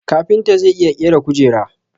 Kafinta zai iya ƙera kujera